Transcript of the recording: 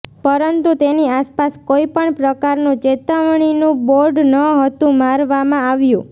પરંતુ તેની આસપાસ કોઇ પણ પ્રકારનું ચેતવણીનું બોર્ડ ન હતું મારવામાં આવ્યું